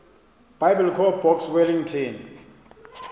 biblecor box wellington